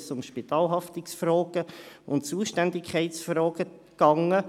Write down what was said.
Es ging dabei um Spitalhaftungs- und Zuständigkeitsfragen.